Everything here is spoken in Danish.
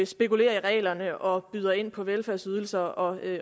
spekulerer i reglerne og byder ind på velfærdsydelser og at